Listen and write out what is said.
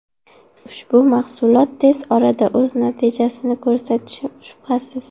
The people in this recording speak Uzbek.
Ushbu mahsulot tez orada o‘z natijasini ko‘rsatishi shubhasiz.